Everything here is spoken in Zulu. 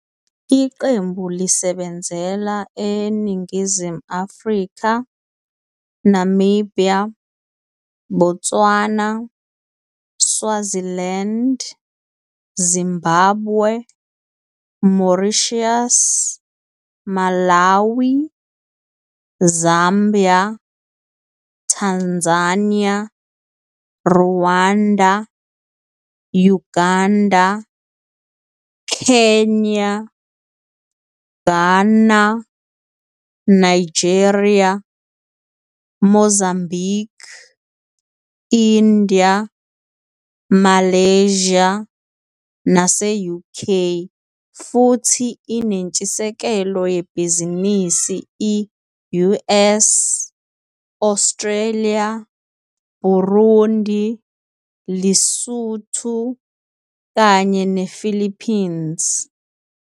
Iqembu lisebenzela eNingizimu Afrika, Namibia, Botswana, Swaziland, Zimbabwe, Mauritius, Malawi, Zambia, Tanzania, Rwanda, Uganda, Kenya, Ghana, Nigeria, Mozambique, India, Malaysia nase-UK, futhi inentshisekelo yebhizinisi i-US, Australia, Burundi, Lesotho kanye nePhilippines.